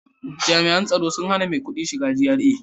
Jami'an tsaro sun hana maikudi shiga GRA